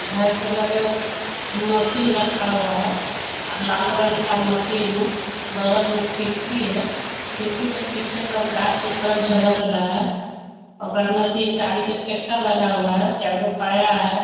घर के लगा मशीन रखा हुआ है और लाल रंग का मशीन है। बगल में खिड़की है। खिड़की के पीछे सब गाछ उछ सब झलक रहा है। ओकरा में भी गाड़ी के चक्का लगा हुआ है। चार गो पाया है।